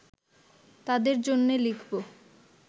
তাদের জন্যে লিখব